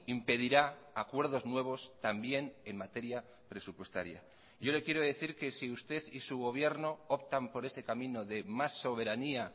impedirá acuerdos nuevos también en materia presupuestaria yo le quiero decir que si usted y su gobierno optan por ese camino de más soberanía